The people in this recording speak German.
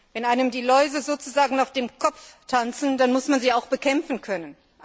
Wenn einem die Läuse sozusagen auf dem Kopf tanzen, dann muss man sie auch bekämpfen können.